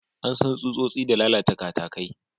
An san tsutsotsi da lalata katakai.